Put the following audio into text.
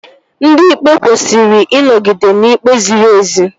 Ndị Ikpe kwesịrị ịnọgide n'ikpe ziri ezi